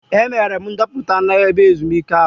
Emere m ndoputa n'ebe ezumike ahụ.